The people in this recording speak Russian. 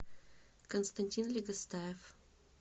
константин легостаев